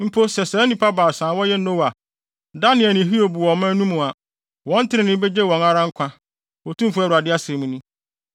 mpo sɛ saa nnipa baasa a wɔyɛ Noa, Daniel ne Hiob wɔ ɔman no mu a, wɔn trenee begye wɔn nko ara nkwa, Otumfo Awurade asɛm ni.